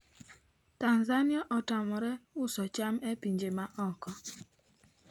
Tanzania otamre uso cham e pinje ma oko